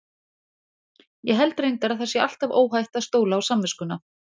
Ég held reyndar að það sé alltaf óhætt að stóla á samviskuna.